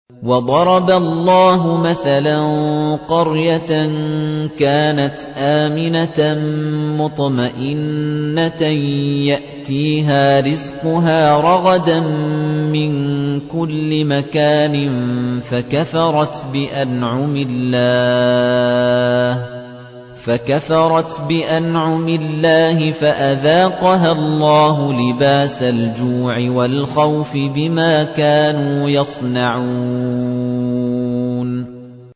وَضَرَبَ اللَّهُ مَثَلًا قَرْيَةً كَانَتْ آمِنَةً مُّطْمَئِنَّةً يَأْتِيهَا رِزْقُهَا رَغَدًا مِّن كُلِّ مَكَانٍ فَكَفَرَتْ بِأَنْعُمِ اللَّهِ فَأَذَاقَهَا اللَّهُ لِبَاسَ الْجُوعِ وَالْخَوْفِ بِمَا كَانُوا يَصْنَعُونَ